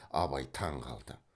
абай таң қалды